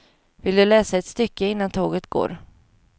Vill du läsa ett stycke, innan tåget går.